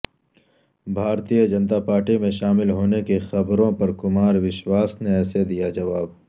بھارتیہ جنتا پارٹی میں شامل ہونے کی خبروں پر کمار وشواس نے ایسے دیا جواب